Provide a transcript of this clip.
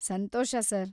Santhosh, sir.